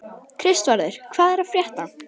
Kristvarður, hvað er að frétta?